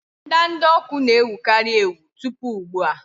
ndanda ọkụ na-ewukarị ewu tupu ugbu a.